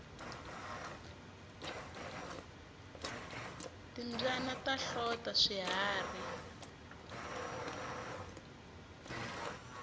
timbyana ta hlota swiharhi